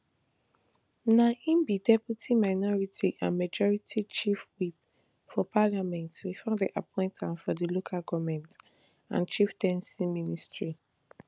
na im be deputy minority and majority chief whip for parliament bifor dem appoint am for di local goment and chieftaincy ministry